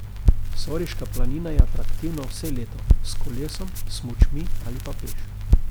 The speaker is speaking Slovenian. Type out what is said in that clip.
Soriška planina je atraktivna vse leto, s kolesom, smučmi ali pa le peš.